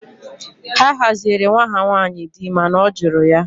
Ha haziere nwa ha nwanyị di mana ọ jụrụ ya